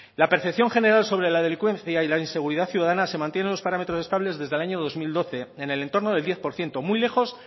la percepción general sobre la delincuencia y la inseguridad ciudadana se mantiene en los parámetros estables desde el año dos mil doce en el entorno del diez por ciento muy lejos